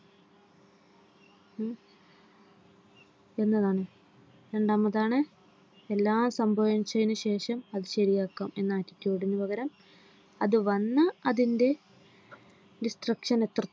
എന്നതാണ് എല്ലാംസംഭവിച്ചതിനുശേഷംഅതു ശരിയാക്കാം എന്ന attitude ന് പകരം അതു വന്ന അതിന്റെ Discription എത്ര